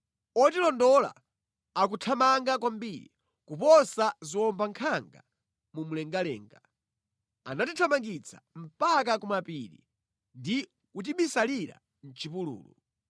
Otilondola akuthamanga kwambiri kuposa ziwombankhanga mu mlengalenga; anatithamangitsa mpaka ku mapiri ndi kutibisalira mʼchipululu.